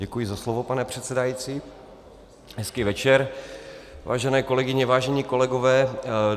Děkuji za slovo, pane předsedající, hezký večer, vážené kolegyně, vážení kolegové.